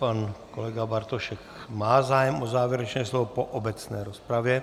Pan kolega Bartošek má zájem o závěrečné slovo po obecné rozpravě.